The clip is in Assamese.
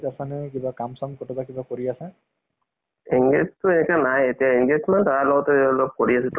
হয় আৰু তাৰ পিছত তোমাৰ কি কয় আহ কিবা exam বোৰ ওলাই আছে, সেইটোত apply কৰা নাই কিবা তোমাৰ মাজত